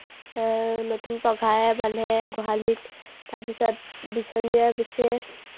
আহ নতুন পঘাৰে বান্ধে গোহালিত। তাৰপিছত বিচনীৰে বিচে।